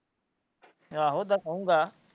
ਆਹੋ ਦੱਸੋ ਗਾ।